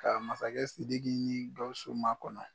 Ka masakɛ sidiki ni bawusu makɔnɔ